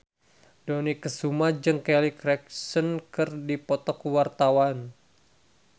Dony Kesuma jeung Kelly Clarkson keur dipoto ku wartawan